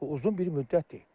Bu uzun bir müddətdir.